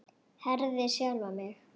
Herði sjálfa mig.